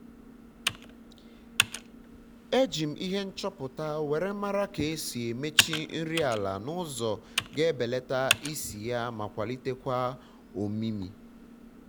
eji m ihe nchọpụta were mara ka esi emechi nri ala n'ụzọ ga ebeleta isi ya ma kwalitekwa ọmịmị